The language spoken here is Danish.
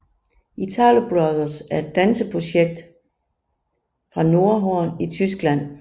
ItaloBrothers er et dance projekt fra Nordhorn i Tyskland